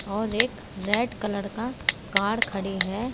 और एक red colour का कार खड़ी है।